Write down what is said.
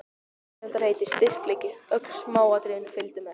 Tegundarheiti, styrkleiki, öll smáatriði fylgdu með.